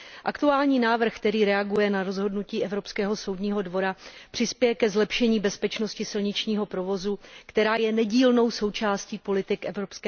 Aktuální návrh, který reaguje na rozhodnutí Evropského soudního dvora, přispěje ke zlepšení bezpečnosti silničního provozu, která je nedílnou součástí politik EU.